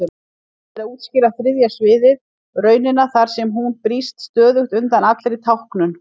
Erfitt er að útskýra þriðja sviðið, raunina þar sem hún brýst stöðugt undan allri táknun.